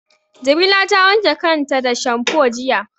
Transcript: Jamila ta wanke kanta da shamfo jiya.